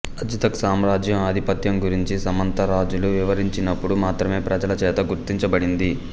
అజ్తక్ సామ్రాజ్యం ఆధిపత్యం గురించి సామంతరాజులు వివరించినప్పుడు మాత్రమే ప్రజలచేత గుర్తించబడింది